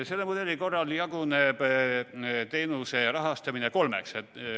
Selle mudeli korral jaguneb teenuse rahastamine kolmeks.